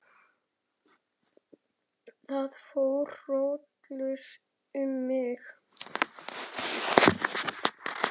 Það fór hrollur um mig.